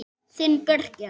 Þinn Birgir.